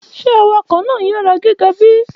Ṣe awakọ naa ni iyara giga bi?